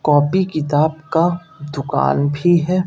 Copy किताब का दुकान भी है।